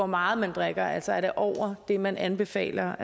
meget man drikker altså er det over det man anbefaler